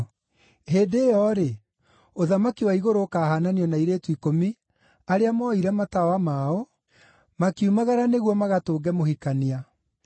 “Hĩndĩ ĩyo-rĩ, ũthamaki wa igũrũ ũkaahaananio na airĩtu ikũmi arĩa mooire matawa mao, makiumagara nĩguo magatũnge mũhikania.